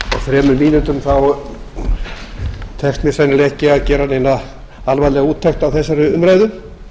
þremur mínútum tekst mér sennilega ekki að gera neina alvarlega úttekt á þessari umræðu